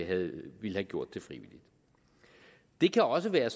have gjort det frivilligt det kan også være